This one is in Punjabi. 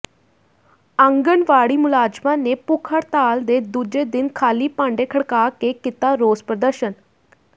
ਆਂਗਣਵਾੜੀ ਮੁਲਾਜ਼ਮਾਂ ਨੇ ਭੁੱਖ ਹੜਤਾਲ ਦੇ ਦੂਜੇ ਦਿਨ ਖ਼ਾਲੀ ਭਾਂਡੇ ਖੜਕਾ ਕੇ ਕੀਤਾ ਰੋਸ ਪ੍ਰਦਰਸ਼ਨ